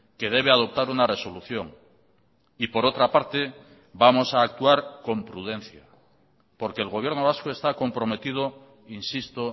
que debe adoptar una resolución y por otra parte vamos a actuar con prudencia porque el gobierno vasco está comprometido insisto